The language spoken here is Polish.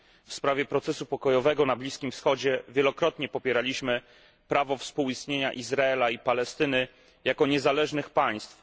W sprawie procesu pokojowego na Bliskim Wschodzie wielokrotnie popieraliśmy prawo współistnienia Izraela i Palestyny jako niezależnych państw.